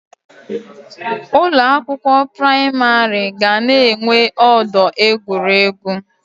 Ụlọ akwụkwọ pramarị ga na enwe ọdọ egwuregwu